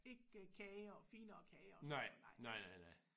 Ikke kager og finere kager og sådan noget nej